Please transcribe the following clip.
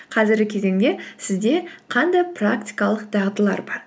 қазіргі кезеңде сізде қандай практикалық дағдылар бар